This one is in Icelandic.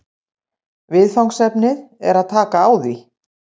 Viðfangsefnið er að taka á því